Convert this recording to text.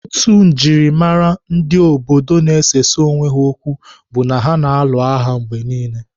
Otu njimara obodo ndi na-esesa onwe ha okwu bụ ha na-alụ agha mgbe niile.